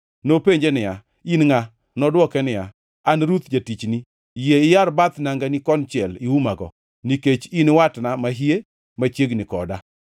Nopenje niya, “In ngʼa?” Nodwoke niya, “An Ruth jatichni. Yie iyar bath nangani konchiel iumago, nikech in watna mahie machiegni koda.”